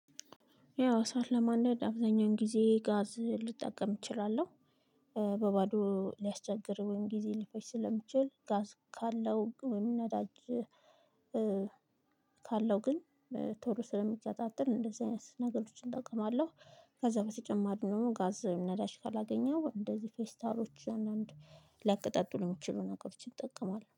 ያው እሳት ለማንደድ አብዛኛውን ጊዜ ጋዝ ልጠቀም እችላለሁ። በባዶ ሊያስቸግር ወይም ጊዜ ሊፈጅ ስለሚችል ጋዝ ካለው ወይም ነዳጅ። ካለው ግን ቶሎ ስለሚቀጣጠል እንደዚህ አይነት ነገሮችን እጠቀማለሁ። ከዛ በተጨማሪ ደግሞ ጋዝ ነዳጅ ካላገኘው እንደዚህ ፌስታሎችን አንድ ሊያቀጣጥሉ ሊችሉ ነገሮችን ይጠቀማል